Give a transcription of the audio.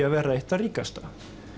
að verða eitt ríkasta